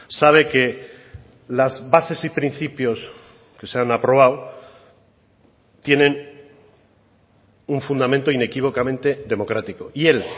sabe que las bases y principios que se han aprobado tienen un fundamento inequívocamente democrático y él